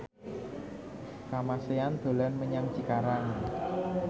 Kamasean dolan menyang Cikarang